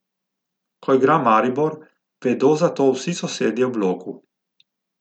Ko igra Maribor, vedo za to vsi sosedje v bloku.